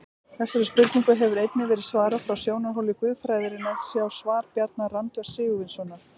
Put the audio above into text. Þessari spurningu hefur einnig verið svarað frá sjónarhóli guðfræðinnar, sjá svar Bjarna Randvers Sigurvinssonar.